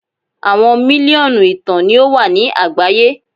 Awọn miliọnu ìtàn ni o wa ni agbaye